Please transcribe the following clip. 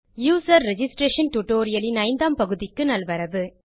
user registration tutorial இன் ஐந்தாம் பகுதிக்கு நல்வரவு